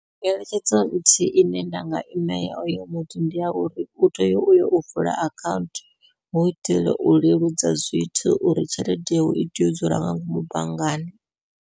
Ngeletshedzo nthihi ine nda nga imela oyo muthu ndi ya uri, u tea uyo u vula akhaunthu hu u itela u leludza zwithu uri tshelede itea u dzula nga ngomu banngani.